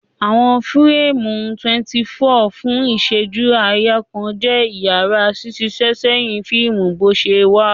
Awọn fireemu 24 fun iṣẹju-aaya kan jẹ iyara ṣiṣiṣẹsẹhin fiimu boṣewa.